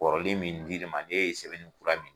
Kɔrɔlen min di l'i ma n'e ye sɛbɛnni kura min